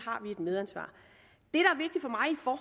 har vi et medansvar